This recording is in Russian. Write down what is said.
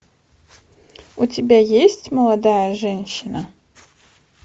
у тебя есть молодая женщина